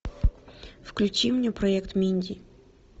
включи мне проект минди